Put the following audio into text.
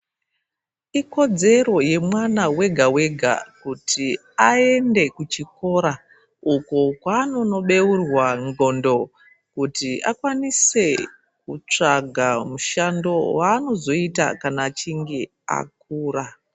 Ikodzero yemwana wega wega, kuti ayende kuchikora uko kwanonobewurwa ndxondo, kuti akwanise kutsvaga mushando wanozvoyita kana achinge akura.